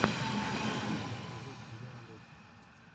последний эпизод я алиса